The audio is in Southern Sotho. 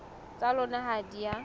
tsa lona ha di a